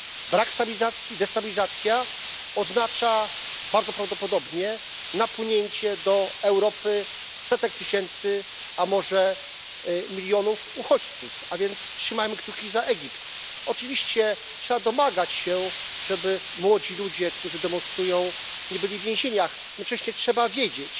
Brak stabilizacji oznacza bardzo prawdopodobnie napłynięcie do Europy setek tysięcy, a może milionów uchodźców, a więc trzymajmy kciuki za Egipt. Oczywiście trzeba domagać się, żeby młodzi ludzie, którzy demonstrują, nie byli w więzieniach, jednocześnie trzeba wiedzieć,